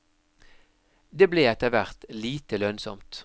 Det ble etter hvert lite lønnsomt.